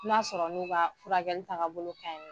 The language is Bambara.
N 'a sɔrɔ n'u ka furakɛli taga bolo ka ɲin